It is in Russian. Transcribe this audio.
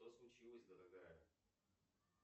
что случилось дорогая